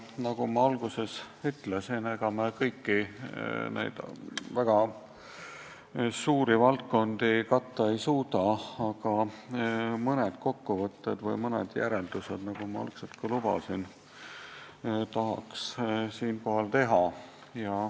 Nagu ma alguses ütlesin, ega me kõiki neid väga suuri valdkondi katta ei suuda, aga mõningase kokkuvõtte või mõned järeldused, nagu ma algul lubasin, tahaks siinkohal teha.